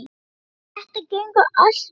Þetta gengur allt upp.